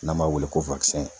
N'an b'a wele ko